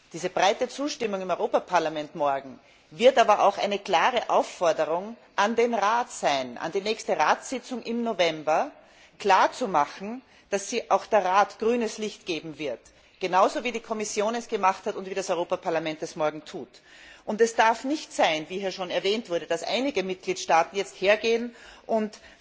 Diese breite Zustimmung im Europäischen Parlament morgen wird aber auch eine klare Aufforderung an den Rat sein, an die nächste Ratssitzung im November, klarzumachen, dass auch der Rat hier grünes Licht geben wird, genauso wie die Kommission es gemacht hat und wie das Europäische Parlament es morgen tut. Es darf nicht sein, wie hier schon erwähnt wurde, dass einige Mitgliedstaaten jetzt hergehen und